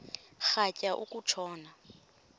rhatya uku tshona